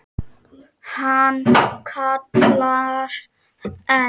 Hann kallar enn.